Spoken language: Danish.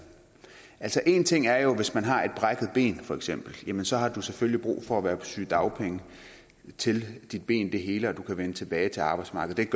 altså én ting er jo hvis man har et brækket ben for eksempel så har selvfølgelig brug for at være på sygedagpenge til til benet heler og man kan vende tilbage til arbejdsmarkedet